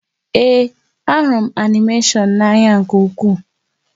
Ee, a hụrụ m animeshọn a n'ányá nkè ukwuu